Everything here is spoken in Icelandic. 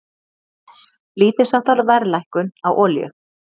Lítilsháttar verðlækkun á olíu